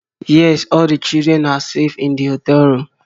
Yes, all the children are safe in the hotel room.